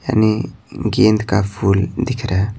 यानि गेंद का फूल दिख रहा है।